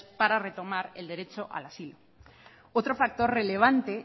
para retomar el derecho al asilo otro factor relevante